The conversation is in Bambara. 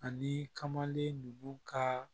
Ani kamalen nugu ka